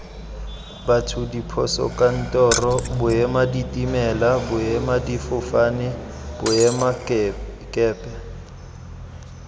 batho diposokantoro boemaditimela boemadifofane boemakepe